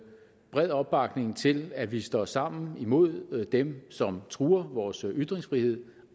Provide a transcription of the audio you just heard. bred opbakning til at vi står sammen imod dem som truer vores ytringsfrihed